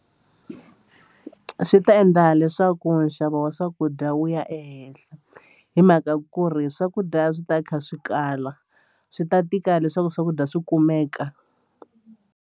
Swi ta endla leswaku nxavo wa swakudya wu ya ehenhla hi mhaka ku ri swakudya swi ta kha swi kala swi ta tika leswaku swakudya swi kumeka.